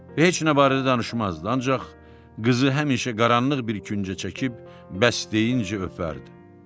Heç nə barədə danışmazdı, ancaq qızı həmişə qaranlıq bir küncə çəkib bəstə deyincə öpərdi.